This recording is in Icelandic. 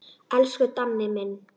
Elsku Danni minn.